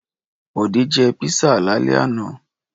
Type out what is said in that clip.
Bọ̀dé jẹ́ písà lálẹ́ àná?